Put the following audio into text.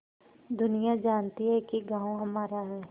दुनिया जानती है कि गॉँव हमारा है